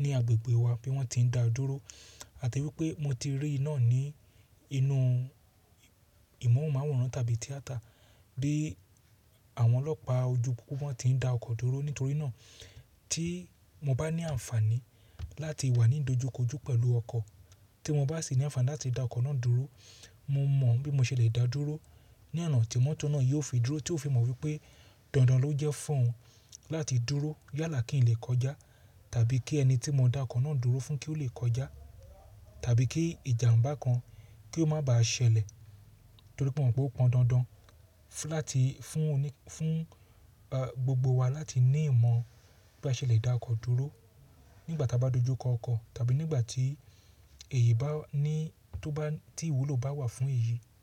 ní agbègbè wa bí wọ́n ti ń da dúró àti wípé mo ti rí náà ní inú ìmọ̀ràn máwòrán tàbí tíátà bí àwọn ọlọ́pàá ojú púpọ̀ wọ́n ti ń da ọkọ̀ dúró nítorí náà tí mo bá ní àǹfààní láti wà ní dojúkojú pẹ̀lú ọkọ̀ tí mo bá sì ní àǹfààní láti da ọkọ̀ náà dúró mo mọ̀ bí mo ṣe le dáa dúró ní ọ̀nà tí mọ́tò náà yóò fi dúró tí ó fi mọ̀ wípé dandan ló jẹ́ fún oun láti dúró yálà kí n lẹ̀ kọjá tàbí kí ẹni tí mo dá ọkọ̀ náà dúró fún kí ó le kọjá tàbí kí ìjàmbá kan kí ó má bàá ṣẹlẹ̀ torí pé mo mọ̀ pé ó pọn dandan láti fún gbogbo wa láti ní ìmọ̀ bí a ṣe le dá ọkọ̀ dúró nígbà tí a bá dojú kọ ọkọ̀ tàbí nígbà tí èyí bá ní tó bá tí ìwúlò bá wà fún èyí.